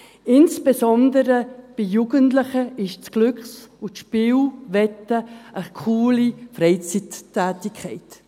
Insbesondere bei Jugendlichen ist das Glücks- und Spielwetten eine coole Freizeittätigkeit.